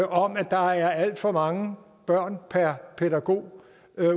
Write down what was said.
om at der er alt for mange børn per pædagog